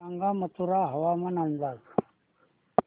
सांगा मथुरा हवामान अंदाज